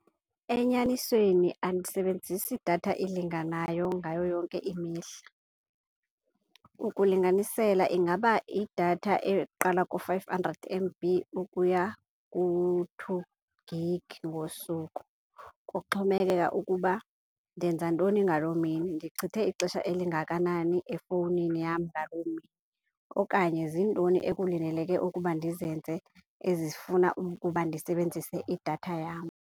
Enyanisweni andisebenzisi datha elinganayo ngayo yonke imihla. Ukulinganisela ingaba idatha eqala ku-five hundred M_B ukuya ku-two gig ngosuku. Kuxhomekeka ukuba ndenzantoni ngaloo mini, ndichithe ixesha elingakanani efowunini yam ngaloo mini okanye zintoni ekulindeleke ukuba ndizenze ezifuna ukuba ndisebenzise idatha yam.